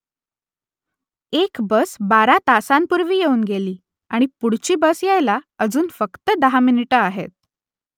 एक बस बारा तासांपूर्वी येऊन गेली आणि पुढची बस यायला अजून फक्त दहा मिनिटं आहेत